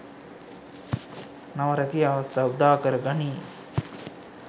නව රැකියා අවස්‌ථා උදාකර ගනී.